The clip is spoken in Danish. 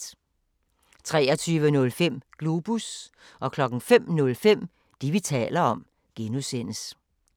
23:05: Globus 05:05: Det, vi taler om (G)